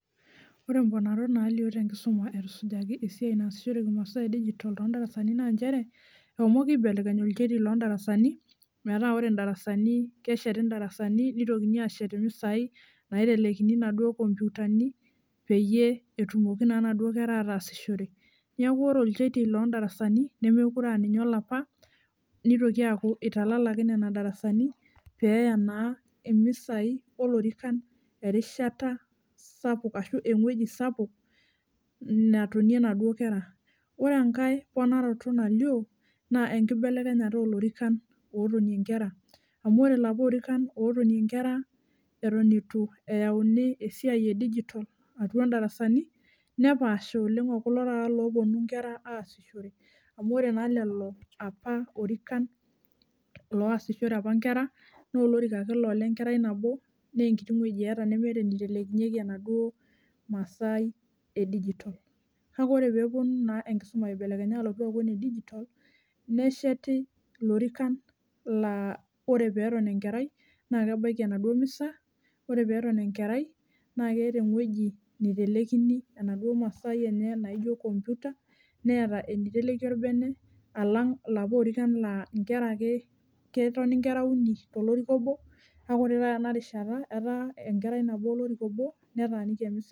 Ore mponarot nalio tenkisuma etusujaki esiai naasishoreki imasaa edigital tondarasani naa nchere ehomoki aibelekeny olchetie loldarasani , metaa ore ndarasani kesheti ndarasani nitokini ashet imisai naitelekini inaduo komputani peyie etumoki naa inaduo kera ataasishore . Niaku ore olchetie loldarasani nemekure aa ninye olapa, nitoki aaku italalaki nena darasani peya naa imisai olorikan erishata sapuk ashu engweji sapuk natonie inaduo kera. Ore enkae ponaroto nalioo naa enkibelekenyata olorikan otonie nkera amu ore ilapa orikan otonie nkera eton itu eyauni esiai edigital atua ndarasani nepaasha oleng okulo taata loponu nkera aisumishore. Amu ore naa lelo apa orikan loasishore apa nkera noo olorika ake laa olenkerai nabo nee enkeiti wueji eeta nemeta enitelekinyeki enaduo masai edigital . Kake ore peeponu naa enkisuma aibelekenya aaku enedigital nesheti ilorikan laa ore peton enkerai naa kebaiki enaduo misa, ore peton enkerai naa keeta ewueji nitelekini enaduo masai enye naijo computer , neeta eniteleki orbene , alang ilapa orikan laa , nkera ake , ketoni nkera uni tolorika obo kake ore taata tenarishata etaa enkerai nabo olorika obo netaaniki emisa.